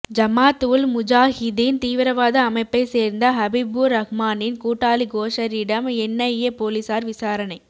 ஜமாத் உல் முஜாஹிதீன் தீவிரவாத அமைப்பை சேர்ந்த ஹபிபுர் ரஹ்மானின் கூட்டாளி கோஷரிடம் என்ஐஏ போலீசார் விசாரணை